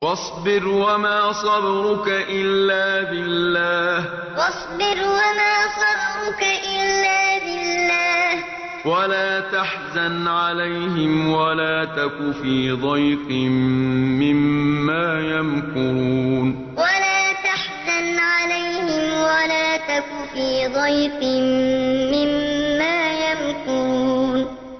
وَاصْبِرْ وَمَا صَبْرُكَ إِلَّا بِاللَّهِ ۚ وَلَا تَحْزَنْ عَلَيْهِمْ وَلَا تَكُ فِي ضَيْقٍ مِّمَّا يَمْكُرُونَ وَاصْبِرْ وَمَا صَبْرُكَ إِلَّا بِاللَّهِ ۚ وَلَا تَحْزَنْ عَلَيْهِمْ وَلَا تَكُ فِي ضَيْقٍ مِّمَّا يَمْكُرُونَ